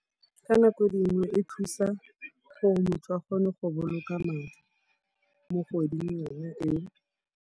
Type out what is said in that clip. Ka nako dingwe e thusa gore motho a kgone go boloka madi mo kgweding yone eo.